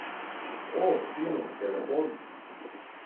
O, fino, telefon!